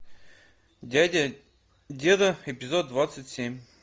дядя деда эпизод двадцать семь